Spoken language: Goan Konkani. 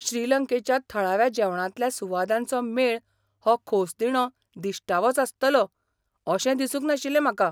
श्रीलंकेच्या थळाव्या जेवणांतल्या सुवादांचो मेळ हो खोसदिणो दिश्टावोच आसतलो अशें दिसूंक नाशिल्लें म्हाका.